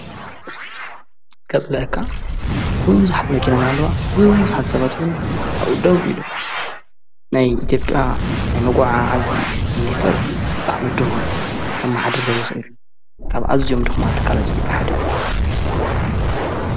ከጽለአካ ብዙሕቲ መኪናን ኣለዋ። ብዝሓትሰበትዉን ኣኡደው ኢሎ። ናይ ኢተየጲያ ብኣ ናይ መጐዓ ዓዚ ምንስተር ብጣዕ ምድኹም ካብ መሓድር ዘይኽይር ካብ ዓዝዮም ድኽማ ተካላት ይጢጴ ሓደ እዩ።